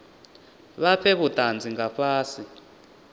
vha fhe vhutanzi nga fhasi